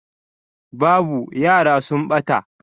Babu, yara sun ɓata